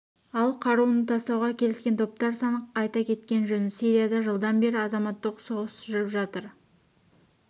ал қаруын тастауға келіскен топтар саны айта кеткен жөн сирияда жылдан бері азаматтық соғыс жүріп жатыр